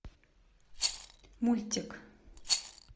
мультик